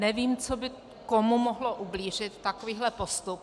Nevím, co by komu mohlo ublížit, takovýhle postup.